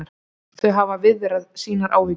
Þau hafa viðrað sínar áhyggjur